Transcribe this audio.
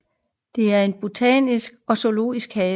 Der er en botanisk og en zoologisk have